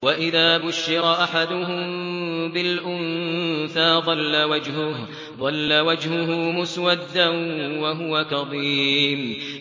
وَإِذَا بُشِّرَ أَحَدُهُم بِالْأُنثَىٰ ظَلَّ وَجْهُهُ مُسْوَدًّا وَهُوَ كَظِيمٌ